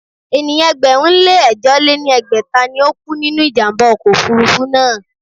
Ènìyàn ẹgbẹ̀rún lé ẹ̀jọ lé ní ẹgbẹ́ta ni ó kú nínú ìjàm̀bá ọkọ̀ òfurufú náà.